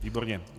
Výborně.